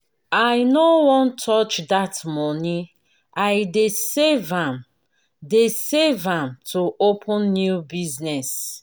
i no wan touch dat money i dey save am dey save am to open new business.